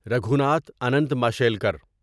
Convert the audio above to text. Raghunath Anant Mashelkar